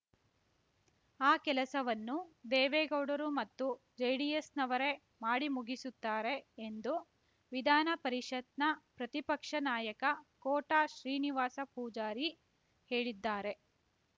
ಆ ಕೆಲಸವನ್ನು ದೇವೆಗೌಡರು ಮತ್ತು ಜೆಡಿಎಸ್‌ನವರೇ ಮಾಡಿ ಮುಗಿಸುತ್ತಾರೆ ಎಂದು ವಿಧಾನ ಪರಿಷತ್‌ನ ಪ್ರತಿಪಕ್ಷ ನಾಯಕ ಕೋಟ ಶ್ರೀನಿವಾಸ ಪೂಜಾರಿ ಹೇಳಿದ್ದಾರೆ